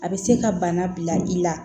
A bɛ se ka bana bila i la